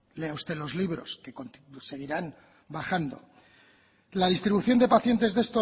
lea usted los libros que seguirán bajando la distribución de pacientes de